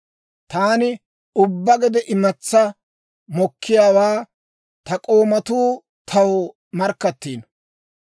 Taani ubbaa gede imatsaa mokkiyaawaa ta k'oomatuu taw markkattiino.